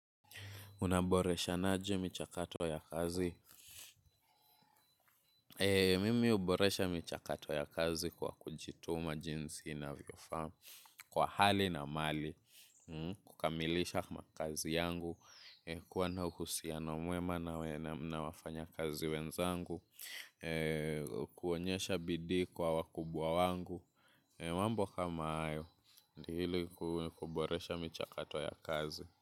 Unaboreshanaje michakato ya kazi? Mimi uboresha michakato ya kazi kwa kujituma jinsi inavyofaa kwa hali na mali. Kukamilisha makazi yangu, kuwa na uhusiano mwema na wafanya kazi wenzangu, kuonyesha bidii kwa wakubwa wangu. Mambo kama hayo, hili kuboresha michakato ya kazi.